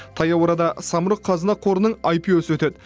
таяу арада самұрық қазына қорының аипио сы өтеді